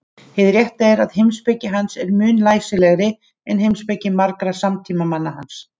Hið rétta er að heimspeki hans er mun læsilegri en heimspeki margra samtímamanna hans.